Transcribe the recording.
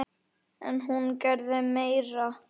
En hún gerði meira.